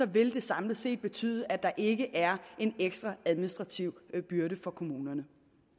vil det samlet set betyde at der ikke er en ekstra administrativ byrde for kommunerne